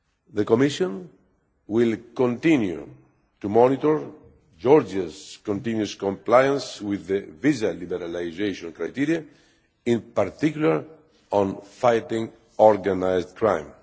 The Commission will continue to monitor Georgia's continuous compliance with the visa liberalisation criteria, in particular on fighting organised crime.